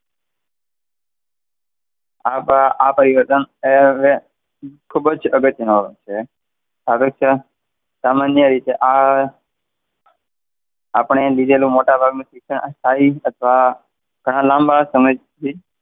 આપા આ પરિવર્તન ખૂબ જ અગત્યનું છે. આગળ છે સામાન્ય રીતે આ આપણે લીધેલું મોટાભાગનું શિક્ષણ સ્થાયી અથવા ઘણા લાંબા સમયથી,